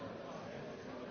Herr Präsident!